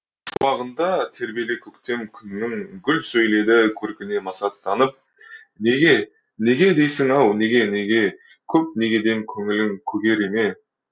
шуағында тербеле көктем күннің гүл сөйледі көркіне масаттанып неге неге дейсің ау неге неге көп негеден көңілің көгере ме